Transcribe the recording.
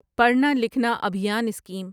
پڑھنا لکھنا ابھیان اسکیم